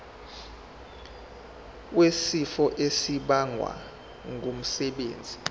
wesifo esibagwe ngumsebenzi